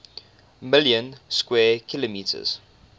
million square kilometers